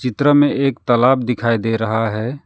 चित्र में एक तलाब दिखाई दे रहा है।